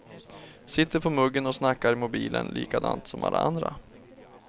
Sitter på muggen och snackar i mobilen likadant som alla andra.